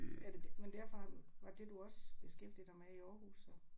Er det men derfor har du var det du også beskæftigede dig med i Aarhus så?